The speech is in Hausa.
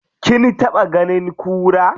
Kin taɓa ganin kura?